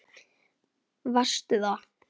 Varstu það?